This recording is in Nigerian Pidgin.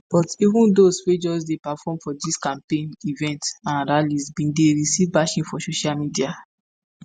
but even dose wey just dey perform for dis campaign events and rallies bin dey receive bashing for social media.